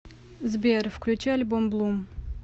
сбер включи альбом блум